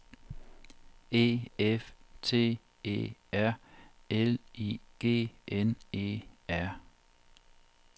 E F T E R L I G N E R